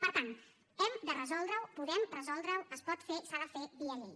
per tant hem de resoldre ho podem resoldre ho es pot fer i s’ha de fer via llei